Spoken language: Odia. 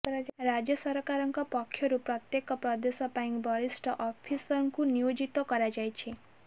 ରାଜ୍ୟ ସରକାରଙ୍କ ପକ୍ଷରୁ ପ୍ରତ୍ୟେକ ପ୍ରଦେଶ ପାଇଁ ବରିଷ୍ଠ ଅଫିସରଙ୍କୁ ନିଯୁକ୍ତ କରାଯାଇଛି